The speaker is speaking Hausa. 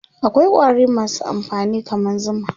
akwai ƙwari masu amfani kaman zuma